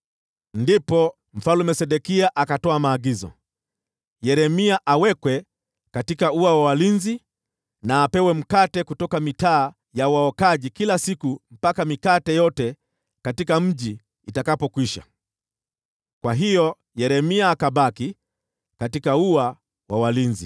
Ndipo Mfalme Sedekia akatoa maagizo Yeremia awekwe katika ua wa walinzi, na apewe mkate kutoka mitaa ya waokaji kila siku mpaka mikate yote katika mji itakapokwisha. Kwa hiyo Yeremia akabaki katika ua wa walinzi.